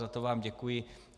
Za to vám děkuji.